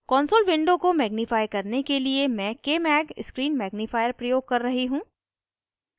console window को magnifier करने के लिए मैं kmag screen magnifier प्रयोग कर रही हूँ